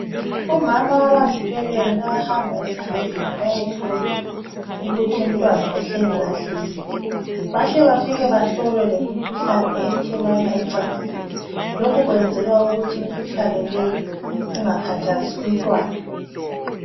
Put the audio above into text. Omama abazithwelelyo bayahamba esibhedlela bayehlolwa ukuthi umntwana uhleli kahle yini .Bahle bafike bahlolwe lemikhuhlane ethelelwana ecansini .Lokhu kwenzelwa ukuthi imikhuhlane leyi ingakhathazi umntwana .